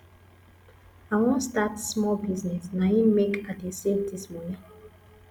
i wan start small business na im make i dey save dis moni